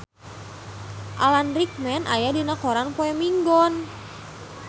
Alan Rickman aya dina koran poe Minggon